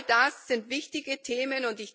All das sind wichtige Themen.